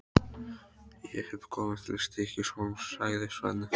Ég hef komið til Stykkishólms, sagði Svenni.